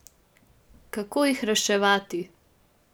Kako jih reševati?